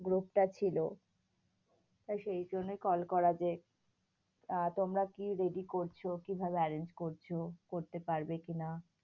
Group টা ছিল সেই জন্যই কল করা যে, আ তোমরা কি ready করছো? কিভাবে arrange করছো? করতে পারবে কি না?